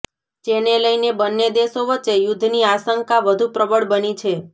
જેને લઇને બંને દેશો વચ્ચે યુદ્ધની આશંકા વધુ પ્રબળ બની છે